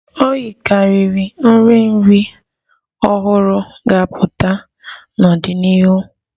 O yikarịrị ka nri nri ọhụrụ ga-apụta n'ọdịnihu